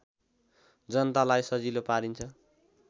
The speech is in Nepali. जनतालाई सजिलो पारिन्छ